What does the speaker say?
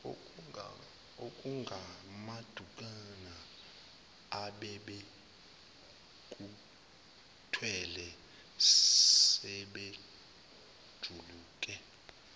okungamadukwana abebekuthwele sebekujike